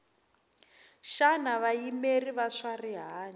xana vayimeri va swa rihanyu